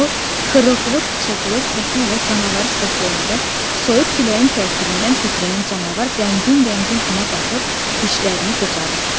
O xırıltılı pıçıltılı səsi ilə canavarı səsləyəndə soyuq küləyin təsirindən titrəyən canavar qəmgin-qəmgin ona baxıb dişlərini qıcadı.